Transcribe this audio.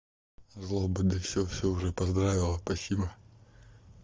злоба да всё всё уже поздравила спасибо